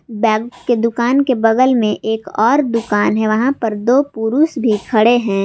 Bag के दुकान के बगल में एक और दुकान है वहां पर दो पुरुष भी खड़े हैं।